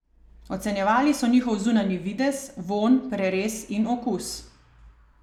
Ocenjevali so njihov zunanji videz, vonj, prerez in okus.